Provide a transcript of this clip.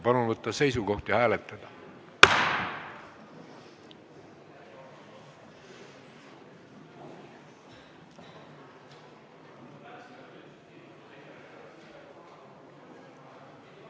Palun võtta seisukoht ja hääletada!